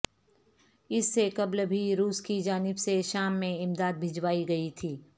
اس سے قبل بھی روس کی جانب سے شام میں امداد بھجوائی گئی تھی